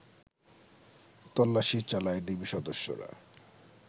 তল্লাশি চালায় ডিবি সদস্যরা